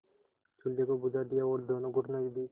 चूल्हे को बुझा दिया और दोनों घुटनों के बीच